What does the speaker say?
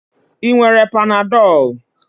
Ị nwere panadol?